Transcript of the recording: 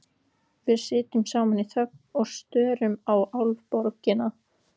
Við sitjum saman í þögn og störum á Álfaborgina.